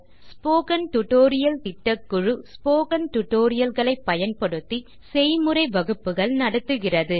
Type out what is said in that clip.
spoken tutorial திட்டக்குழு spoken tutorial களை பயன்படுத்தி செய்முறை வகுப்புகள் நடத்துகிறது